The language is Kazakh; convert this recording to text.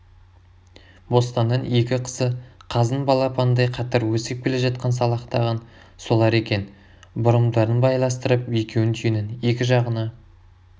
бостанның екі қызы қаздың балапанындай қатар өсіп келе жатқан салақтаған солар екен бұрымдарын байластырып екеуін түйенің екі жағына